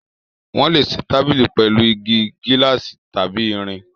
Wọ́n lè ṣe tábìlì pẹ̀lú igi, gíláàsì tàbí irin.